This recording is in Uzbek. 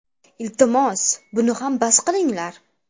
Iltimos, buni ham bas qilinglar.